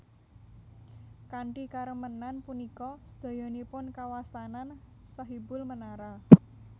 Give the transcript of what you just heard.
Kanthi karemenan punika sedayanipun kawastanan Sahibul Menara